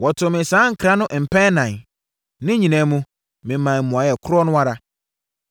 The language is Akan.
Wɔtoo me saa nkra no mpɛn ɛnan. Ne nyinaa mu, memaa mmuaeɛ korɔ no ara.